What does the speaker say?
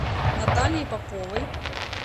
натальей поповой